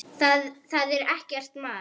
Það er ekki mars.